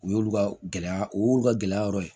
U y'olu ka gɛlɛya o y'u ka gɛlɛya yɔrɔ ye